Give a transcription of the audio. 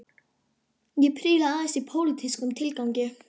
Ég príla aðeins í pólitískum tilgangi